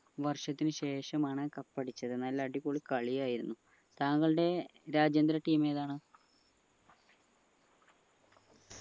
വർഷത്തിന് ശേഷമാണ് cup അടിച്ചത് നല്ല അടിപൊളി കളിയായിരുന്നു തങ്ങളുടെ രാജ്യാന്തര team ഏതാണ്